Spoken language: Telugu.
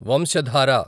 వంశధార